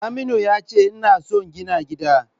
Saminu yace ina son gina gida.